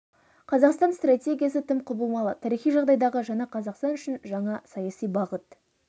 қазақстан стратегиясы тым құбылмалы тарихи жағдайдағы жаңа қазақстан үшін жаңа саяси бағыт